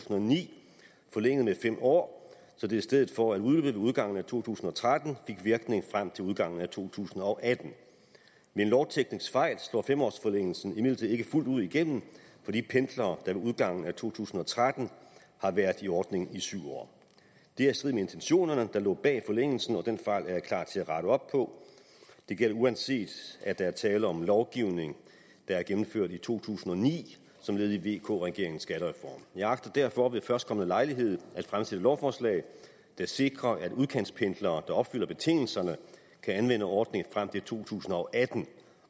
og ni forlænget med fem år så det i stedet for at udløbe ved udgangen af to tusind og tretten fik virkning frem til udgangen af to tusind og atten ved en lovteknisk fejl slår fem årsforlængelsen imidlertid ikke fuldt ud igennem for de pendlere med udgangen af to tusind og tretten har været i ordningen i syv år det er i strid med intentionerne der lå bag forlængelsen og den fejl er jeg klar til at rette op på det gælder uanset at der er tale om lovgivning der er gennemført i to tusind og ni som led i vk regeringens skattereform jeg agter derfor ved førstkommende lejlighed at fremsætte lovforslag der sikrer at udkantspendlere der opfylder betingelserne kan anvende ordningen frem til to tusind og atten